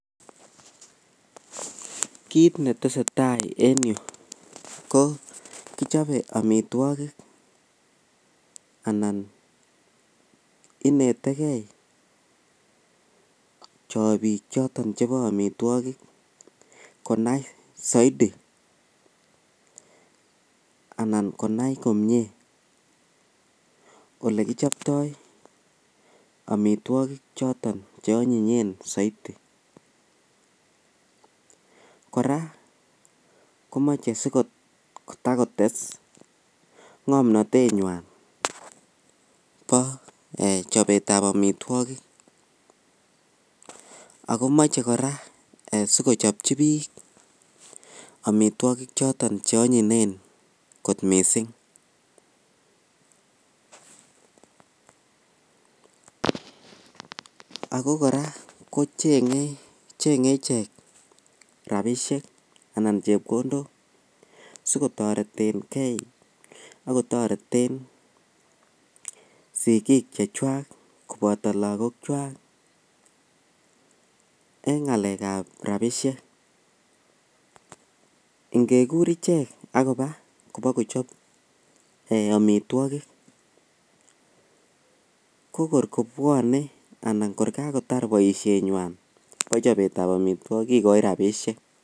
Kiit netesetai en yuu ko kichobe amitwokik anan inetekei chibiik choton chebo amitwokik konai soiti anan konai komnye olekichoptoi amitwokik choton cheonyinyen soiti, kora komoche asitakotes ng'omnotenywan bo chobetab amitwokik ak komoche kora sikochopchi biik amitwokik choton cheonyinyen kot mising, ak ko kora cheng'e ichek rabishek anan chepkondok sikotoretange akotoreten sikiik chechwak koboto lokokwak en ng'alekab rabishek, ingekur ichek ak kobaa bokochop amitwokik ko kor kobwone anan kor kakotar boishenywan bo chobetab amitwokik kikoi rabishek.